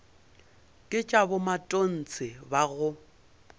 ke tša bomatontshe ba go